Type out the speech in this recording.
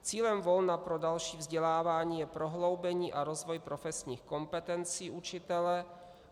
Cílem volna pro další vzdělávání je prohloubení a rozvoj profesních kompetencí učitele.